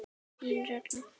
Þín Ragna.